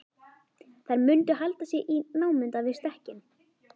Þær mundu halda sig í námunda við stekkinn.